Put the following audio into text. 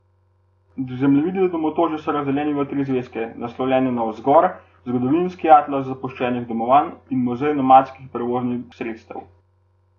Zemljevidi domotožja so razdeljeni v tri zvezke, naslovljene Nagovor, Zgodovinski atlas zapuščenih domovanj in Muzej nomadskih prevoznih sredstev.